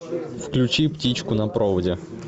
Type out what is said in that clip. включи птичку на проводе